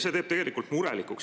See teeb murelikuks.